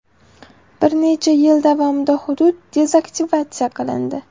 Bir necha yil davomida hudud dezaktivatsiya qilindi.